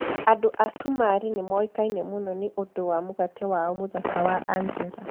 Andũ a Cumarĩ nĩ moĩkaine mũno nĩ ũndũ wa mũgate wao mũthaka wa anjera.